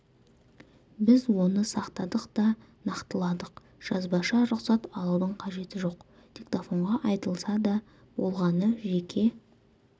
біз оны сақтадық та нақтыладық жазбаша рұқсат алудың қажеті жоқ диктофонға айтылса да болғаны жеке